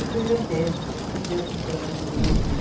E fui vendendo, ia juntando algum dinheirinho.